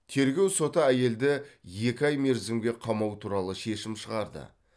тергеу соты әйелді екі ай мерзімге қамау туралы шешім шығарды